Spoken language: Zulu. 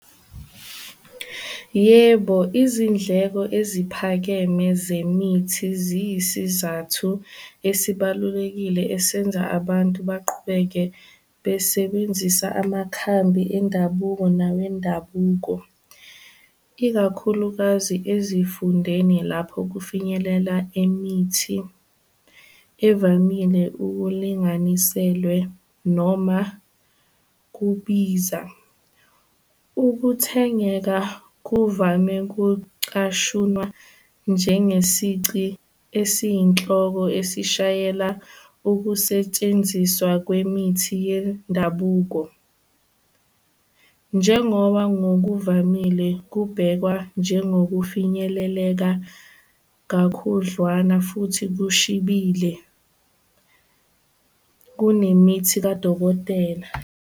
Yebo, izindleko eziphakeme zemithi ziyisizathu esibalulekile esenza abantu baqhubeke besebenzisa amakhambi endabuko nawendabuko, ikakhulukazi ezifundeni lapho kufinyelela imithi evamile ukulinganiselwe noma kubiza. Ukuthengeka kuvame kucashunwa njengesici esiyinhloko esishayela ukusetshenziswa kwemithi yendabuko, njengoba ngokuvamile kubhekwa njengokufinyeleleka kakhudlwana futhi kushibile kunemithi kadokotela.